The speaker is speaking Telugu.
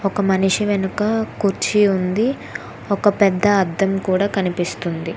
ఒక మనిషి వెనుక కుర్చీ ఉంది ఒక పెద్ద అర్థం కూడా కనిపిస్తుంది.